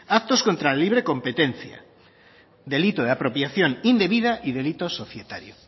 actos contra la libre competencia delito de apropiación indebida y delito societario